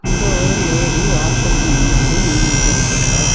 இங்க ஒரு லேடி வாசலுக்கு முன்னாடி நின்னுகிட்டு இருக்காங்க.